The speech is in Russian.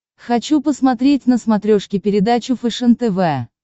хочу посмотреть на смотрешке передачу фэшен тв